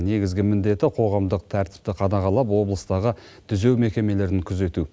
негізгі міндеті қоғамдық тәртіпті қадағалап облыстағы түзеу мекемелерін күзету